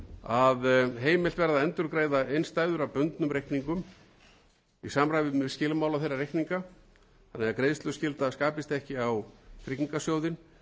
að heimilt verði að endurgreiða innstæður af bundnum reikningum í samræmi við skilmála þeirra reikninga þannig að greiðsluskylda skapist ekki á tryggingasjóðinn fyrr en innstæðueigandi hefði getað tekið innstæðu sína